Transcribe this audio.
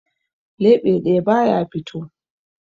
Leɓe ɗaya ba ya fito.